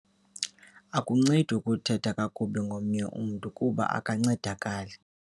Akuncedi ukuthetha kakubi ngomnye umntu kuba akancedakali.